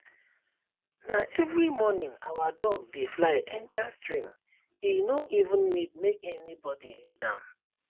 na every morning our duck dey fly enter streame no even need make anybody lead dem